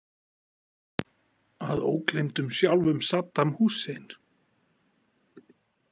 Að ógleymdum sjálfum Saddam Hussein.